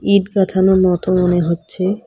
ইট গাথানো মত মনে হচ্ছে।